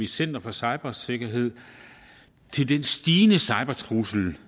center for cybersikkerhed til den stigende cybertrussel